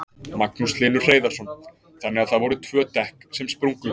Magnús Hlynur Hreiðarsson: Þannig að það voru tvö dekk sem sprungu?